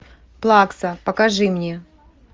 плакса покажи мне